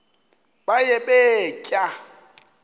baye bee tyaa